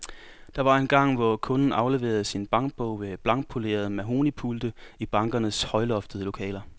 Der var engang, hvor kunden afleverede sin bankbog ved blankpolerede mahognipulte i bankernes højloftede lokaler.